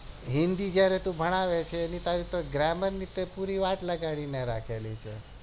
હિન્દી જયારે તું ભણાવે ત્યારે તે તો gramar ની તો પૂરી વાત લગાવી રાખી છે